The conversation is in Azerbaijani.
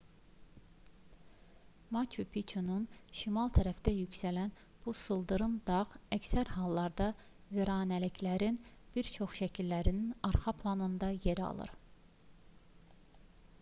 maçu piçunun şimal tərəfində yüksələn bu sıldırım dağ əksər hallarda viranəliklərin bir çox şəkillərinin arxa planında yer alır